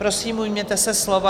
Prosím, ujměte se slova.